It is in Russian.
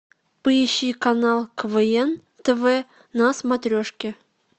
поищи канал квн тв на смотрешке